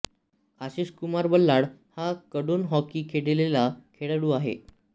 आशिष कुमार बल्लाळ हा कडून हॉकी खेळलेला खेळाडू आहे